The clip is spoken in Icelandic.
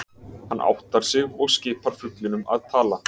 Hann áttar sig og skipar fuglinum að tala.